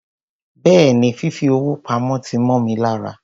Béèni, fìfi owó pamó ti mó mi lára.